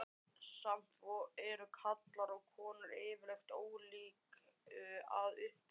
Samt eru karlar og konur yfirleitt ólík að upplagi.